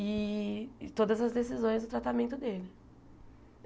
E todas as decisões e o tratamento dele.